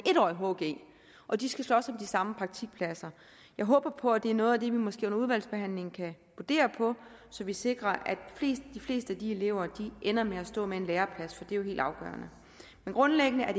årig hg og de skal slås om de samme praktikpladser jeg håber på at det er noget af det vi måske under udvalgsbehandlingen kan brodere på så vi sikrer at de fleste af de elever ender med at stå med en læreplads for det er jo helt afgørende grundlæggende er